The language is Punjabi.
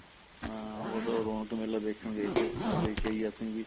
ਹਾਂ ਬੱਸ ਰੋਣਕ ਮੇਲਾ ਦੇਖਣ ਗਏ ਥੇ ਮੈਂ ਕਿਆ ਦੇਖ ਆਈਏ ਅਸੀਂ ਵੀ